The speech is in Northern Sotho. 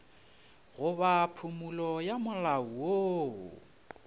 goba phumolo ya molao woo